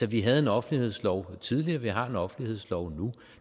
vi havde en offentlighedslov tidligere og vi har en offentlighedslov nu